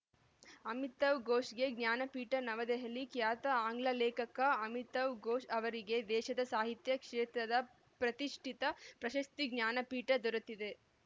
ಅಮಿತಾವ್‌ ಘೋಷ್‌ಗೆ ಜ್ಞಾನಪೀಠ ನವದೆಹಲಿ ಖ್ಯಾತ ಆಂಗ್ಲ ಲೇಖಕ ಅಮಿತಾವ್‌ ಘೋಷ್‌ ಅವರಿಗೆ ದೇಶದ ಸಾಹಿತ್ಯ ಕ್ಷೇತ್ರದ ಪ್ರತಿಷ್ಠಿತ ಪ್ರಶಸ್ತಿ ಜ್ಞಾನಪೀಠ ದೊರೆತಿದೆ